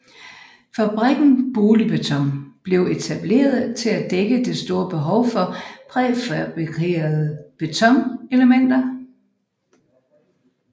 Fabrikken Boligbeton blev etableret til at dække det store behov for præfabrikerede betonelementer